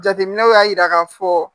Jateminɛw y'a jira k'a fɔ